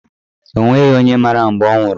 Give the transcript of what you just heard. O nweghị onye mara mgbe ọ nwụrụ.